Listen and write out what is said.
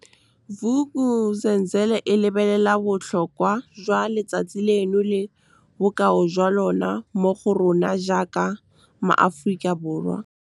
Vuk'uzenzele e lebelela bo tlhokwa jwa letsatsi leno le bokao jwa lona mo go rona jaaka maAforika Borwa. Vuk'uzenzele e lebelela bo tlhokwa jwa letsatsi leno le bokao jwa lona mo go rona jaaka maAforika Borwa.